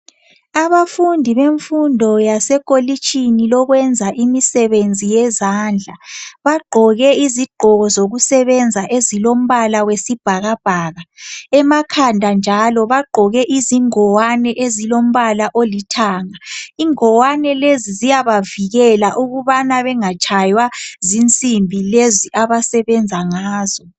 Abantu bemfundo lasekolitshini lokwenza imisebenzi yezandla, bagqoke izigqoko zokusebenza ezilombala wesibhakabhaka, emakhanda njalo bagqoke izingwane ezilombala olithanga. Ingwane lezi ziyabavikela ukubana bengatshaywa zinsimbi lezi abasebenza ngazo.